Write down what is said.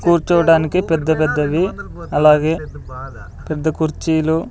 కూర్చోవడానికి పెద్ద పెద్దవి అలాగే పెద్ద కుర్చీలు--